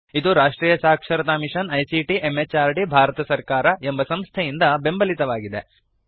ಇದುರಾಷ್ಟ್ರಿಯ ಸಾಕ್ಷರತಾ mission ICT MHRD Bharat ಸರ್ಕಾರ ಎಂಬ ಸಂಸ್ಥೆಯಿಂದ ಬೆಂಬಲಿತವಾಗಿದೆ